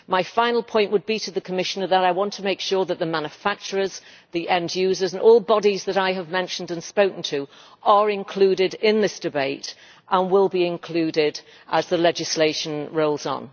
My final point to the Commissioner would be that I want to make sure that the manufacturers, the end users and all the bodies that I have mentioned and spoken to are included in this debate and will be included as the legislation rolls on.